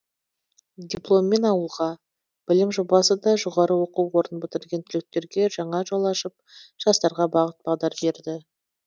дипломмен ауылға білім жобасы да жоғары оқу орнын бітірген түлектерге жаңа жол ашып жастарға бағыт бағдар берді